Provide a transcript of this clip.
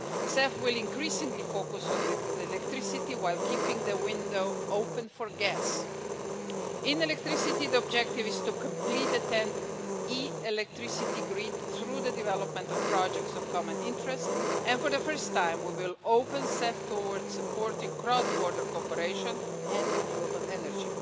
CEF will increasingly focus on electricity while keeping the window open for gas. In electricity, the objective is to complete the TEN E electricity grid through the development of projects of common interest, and for the first time, we will open CEF towards supporting cross border cooperation and renewable energy.